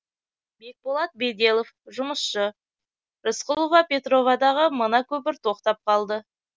бекболат беделов жұмысшы рысқұлова петровадағы мына көпір тоқтап қалды